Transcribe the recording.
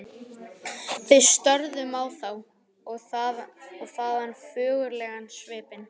Við störðum á þá- og þaðan á föðurlegan svipinn.